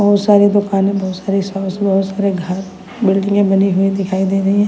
बहोत सारी दुकानें बहोत सारी घर बिल्डिंगे बनी हुई दिखाई दे रही हैं।